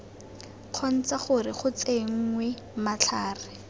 kgontsha gore go tsenngwe matlhare